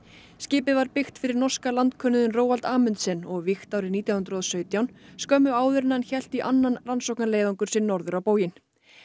skipið var byggt fyrir norska landkönnuðinn Roald Amundsen og vígt árið nítján hundruð og sautján skömmu áður en hann hélt í annan rannsóknarleiðangur sinn norður á bóginn